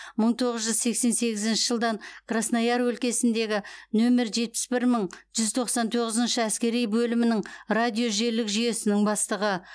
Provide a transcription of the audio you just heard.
мың тоғыз жүз сексен сегізінші жылдан краснояр өлкесіндегі нөмір жетпіс бір мың бір жүз тоқсан тоғызыншы әскери бөлімінің радиожелілік жүйесінің бастығы